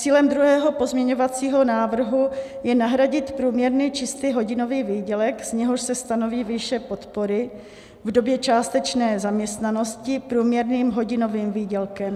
Cílem druhého pozměňovacího návrhu je nahradit průměrný čistý hodinový výdělek, z něhož se stanoví výše podpory v době částečné zaměstnanosti, průměrným hodinovým výdělkem.